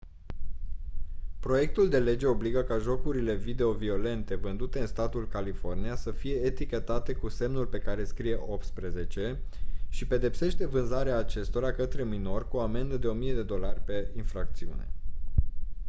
proiectul de lege obligă ca jocurile video violente vândute în statul california să fie etichetate cu semnul pe care scrie «18» și pedepsește vânzarea acestora către minori cu o amendă de 1000 usd per infracțiune.